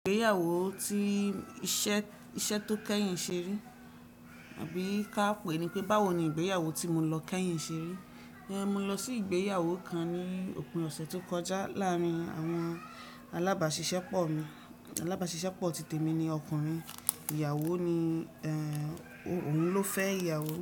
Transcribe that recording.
Ìgbéyàwó tí iṣẹ́ tó kẹ́yìn ṣe rí, tàbí ká pè é ní pé báwo ni ìgbéyàwó tí mo lọ kẹ́yìn ṣe rí. Mo lọ sí ìgbéyàwó kan ní òpin ọ̀sẹ̀ tó kọjá láàárín àwọn alábàásisẹ́pọ̀ mi. Alábàásisẹ́pọ̀ titẹ̀ mi ni ọkùnrin, ìyàwó ni, òun ló fẹ́ ìyàwó.